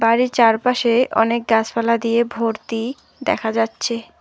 বাড়ির চারপাশে অনেক গাছপালা দিয়ে ভর্তি দেখা যাচ্ছে।